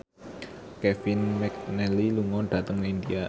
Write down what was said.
Kevin McNally lunga dhateng India